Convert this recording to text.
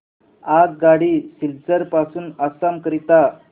आगगाडी सिलचर पासून आसाम करीता